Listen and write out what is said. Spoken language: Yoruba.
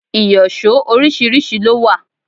Ìyọ̀ṣó oríṣiríṣi ló wà.